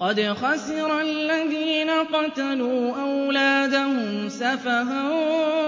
قَدْ خَسِرَ الَّذِينَ قَتَلُوا أَوْلَادَهُمْ سَفَهًا